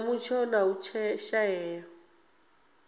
sa mutsho na u shaea